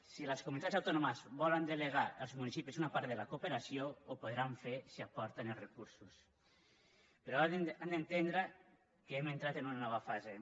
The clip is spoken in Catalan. si les comunitats autònomes volen delegar als municipis una part de la cooperació ho podran fer si aporten els recursos però han d’entendre que hem entrat en una nova fase